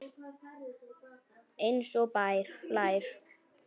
Eins og blær.